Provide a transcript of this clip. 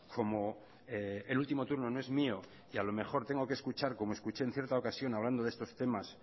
como el último turno no es mío y a lo mejor tengo que escuchar como escuché en cierta ocasión hablando de estos temas